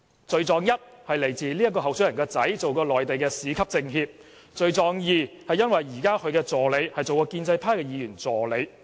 罪狀一，這位候選人的兒子曾擔任內地市級政協；罪狀二，他現時的助理曾擔任建制派的議員助理。